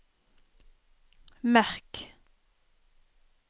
merk